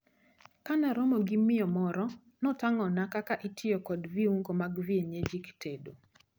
Kanaromo gi miyo moro, notang`ona kaka itiyo kod viungo mag kienyeji e tedo.